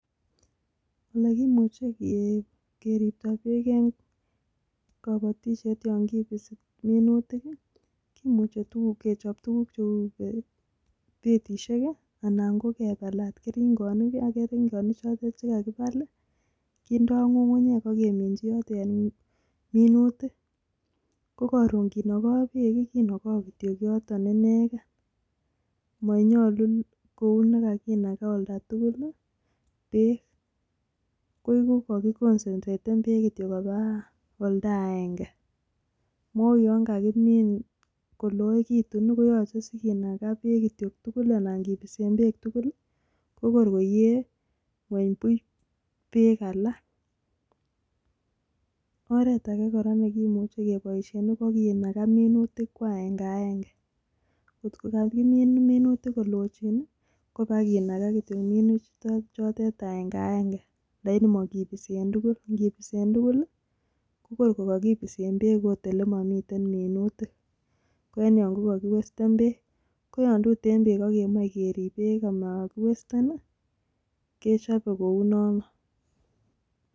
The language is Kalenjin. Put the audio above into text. Olekimuche keripto beek en kabatiseit yon kibisi minutik kimuche kechop tukuk cheu betishek anan kebalat keringonik ak keringonichotet kakibal kindoo ng'ung'unyek akeminchi yoto minutik ko karon kinokoo beek kinokoo kityok yoton ineken monyolu kou nekakinakaa oltatugul beek koiku kokiconcentraten beek kityok kopaa oldaenge mou yon kakimin koloekitu koyoche sikinaka beek tugul alan kibisen beek tugul kokor koyee ngweny buch beek alak .oretake kora nekimuche keboisien kokinaka minutik kwaengaenge ngokokakimin minutik kolochin kopakinaka kityok minutichotet aengaenge laini mokibisen tugul ngibisen tugul korko kokibisen beek okot olemomii minutik ko en yo kokokiwesten beek ,koyon tuten beek akemoe sikerip beek amokiwesten kechope kounono.